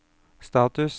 status